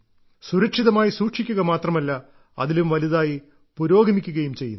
സുരക്ഷിതമായി സൂക്ഷിക്കുക മാത്രമല്ല അതിലും വലുതായി പുരോഗമിക്കുകയും ചെയ്യുന്നു